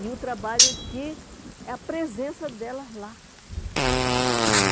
E o trabalho que é a presença delas lá.